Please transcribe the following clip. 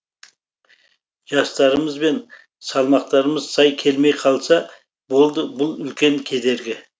жастарымыз бен салмақтарымыз сай келмей қалса болды бұл үлкен кедергі